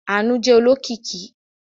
Àánú jẹ́ olókìkí.